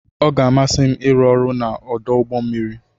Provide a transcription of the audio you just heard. Ọ ga-amasị m ịrụ ọrụ n'ọdụ ụgbọ mmiri.